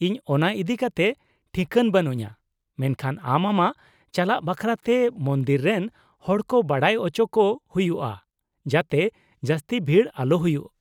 -ᱤᱧ ᱚᱱᱟ ᱤᱫᱤ ᱠᱟᱛᱮ ᱴᱷᱤᱠᱟᱹᱱ ᱵᱟᱹᱱᱩᱧᱟ , ᱢᱮᱱᱠᱷᱟᱱ ᱟᱢ ᱟᱢᱟᱜ ᱪᱟᱞᱟᱜ ᱵᱟᱠᱷᱨᱟᱛᱮ ᱢᱚᱱᱫᱤᱨ ᱨᱮᱱ ᱦᱚᱲ ᱠᱚ ᱵᱟᱰᱟᱭ ᱚᱪᱚ ᱠᱚ ᱦᱩᱭᱩᱜᱼᱟ, ᱡᱟᱛᱮ ᱡᱟᱹᱥᱛᱤ ᱵᱷᱤᱲ ᱟᱞᱚ ᱦᱩᱭᱩᱜ ᱾